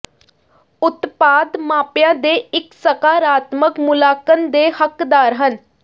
ਉਤਪਾਦ ਮਾਪਿਆਂ ਦੇ ਇੱਕ ਸਕਾਰਾਤਮਕ ਮੁਲਾਂਕਣ ਦੇ ਹੱਕਦਾਰ ਹਨ